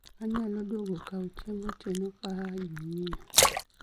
anyalo luongo kao chiemb otieno kaayo jumia